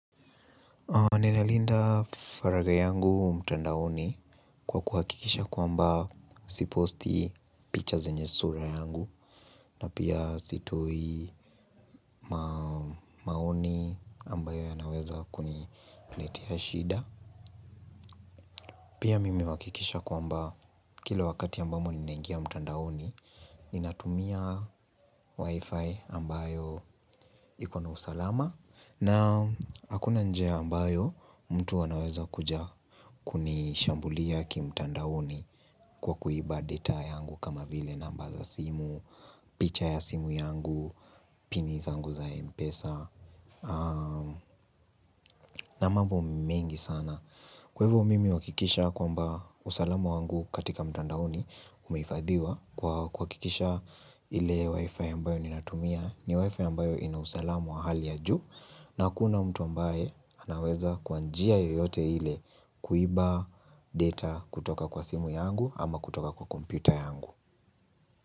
Ninalinda farari yangu mtandaoni kwa kuhakikisha kwamba si posti picha zenye sura yangu na pia sitoi maoni ambayo yanaweza kuni. Letea shida. Pia mimi huhakikisha kwamba kila wakati ambamo ninangia mtandaoni ninatumia wifi ambayo ikona usalama, na hakuna njia ambayo mtu anaweza kuja kunishambulia kimtandaoni kwa kuiba data yangu kama vile namba za simu, picha ya simu yangu, pini zangu za mpesa. Na mambo mingi sana. Kwa ivo mimi huakikisha kwamba usalamu wangu katika mtandaoni umifadhiwa kwa kikisha. Ile wifi ambayo ninatumia ni wifi ambayo ina usalamu wa hali ya juu. Na hakuna mtu ambaye anaweza kwa njia yoyote ile kuiba data kutoka kwa simu yangu ama kutoka kwa komputa yangu.